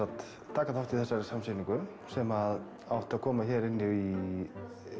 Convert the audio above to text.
taka þátt í þessari samsýningu sem átti að koma hérna inn í